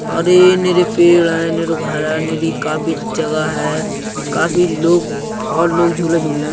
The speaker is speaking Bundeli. और ये नेरे पेड़ हैं नीरो घर हैं नेरी काफी जगह हैं। काफी लोग बोहोत लोग झूले झूल रहे हैं।